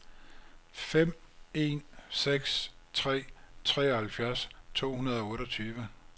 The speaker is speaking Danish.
fem en seks tre treoghalvfjerds to hundrede og otteogtyve